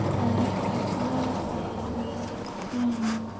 Það er ekkert varið í hana.